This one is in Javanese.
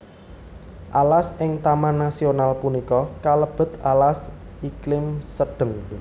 Alas ing taman nasional punika kalebet alas iklim sedheng